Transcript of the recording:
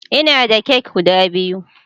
Ina da kek guda biyu